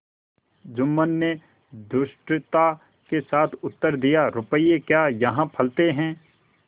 जुम्मन ने धृष्टता के साथ उत्तर दियारुपये क्या यहाँ फलते हैं